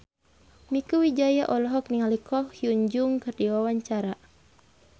Mieke Wijaya olohok ningali Ko Hyun Jung keur diwawancara